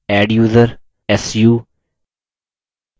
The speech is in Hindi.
adduser su